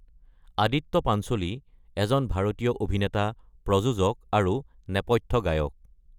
আদিত্য পাঞ্চোলী এজন ভাৰতীয় অভিনেতা, প্ৰযোজক আৰু নেপথ্য গায়ক।